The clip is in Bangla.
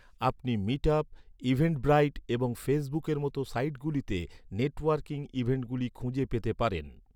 আপনি মিটআপ, ইভেন্টব্রাইট এবং ফেসবুকের মত সাইটগুলিতে নেটওয়ার্কিং ইভেন্টগুলি খুঁজে পেতে পারেন ৷